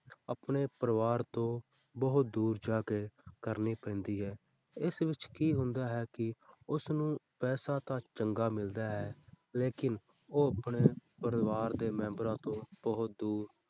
ਆਪਣੇ ਪਰਿਵਾਰ ਤੋਂ ਬਹੁਤ ਦੂਰ ਜਾ ਕੇ ਕਰਨੀ ਪੈਂਦੀ ਹੈ, ਇਸ ਵਿੱਚ ਕੀ ਹੁੰਦਾ ਹੈ ਕਿ ਉਸਨੂੰ ਪੈਸਾ ਤਾਂ ਚੰਗਾ ਮਿਲਦਾ ਹੈ, ਲੇਕਿੰਨ ਉਹ ਆਪਣੇ ਪਰਿਵਾਰ ਦੇ ਮੈਂਬਰਾਂ ਤੋਂ ਬਹੁਤ ਦੂਰ,